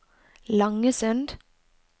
Langesund